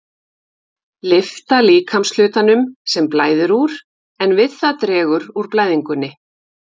Lyfta líkamshlutanum, sem blæðir úr, en við það dregur úr blæðingunni.